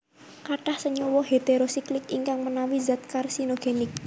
Katah senyawa heterosiklik ingkang menawi zat karsinogenik